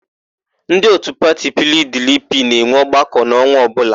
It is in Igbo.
Ndị òtù pati PIiDIiPIi na-enwe ọgbakọ n'ọnwa ọbụla.